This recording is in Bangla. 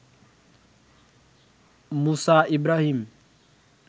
মুসা ইব্রাহীম